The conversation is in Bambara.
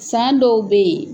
San dɔw bɛ ye.